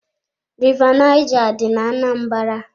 River Naija dị ná-Anambra.